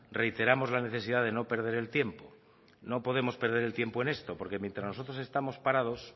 reiteramos la necesidad de no perder el tiempo no podemos perder el tiempo en esto porque mientras nosotros estamos parados